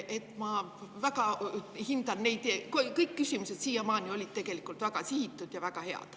Aga ma väga hindan neid, kõik küsimused on siiamaani olnud väga ja head.